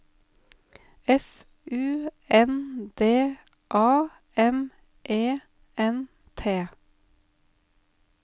F U N D A M E N T